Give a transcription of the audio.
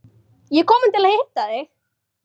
Ég er komin til að hitta þig!